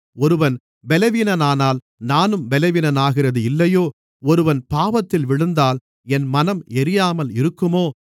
ஒருவன் பலவீனனானால் நானும் பலவீனனாகிறது இல்லையோ ஒருவன் பாவத்தில் விழுந்தால் என் மனம் எரியாமல் இருக்குமோ